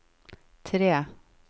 tre